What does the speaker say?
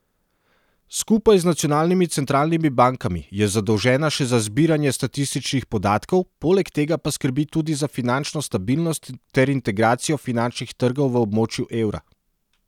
Skupaj z nacionalnimi centralnimi bankami je zadolžena še za zbiranje statističnih podatkov, poleg tega pa skrbi tudi za finančno stabilnost ter integracijo finančnih trgov v območju evra.